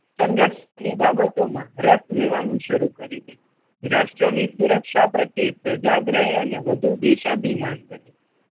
સંરક્ષણ ની બાબતો માં રસ લેવાનું શરૂ કરી દે. રાષ્ટ્ર ની સુરક્ષા પ્રત્યે સજાગ રહે અને વધુ દેશાધીમાન બને.